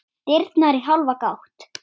Dyrnar í hálfa gátt.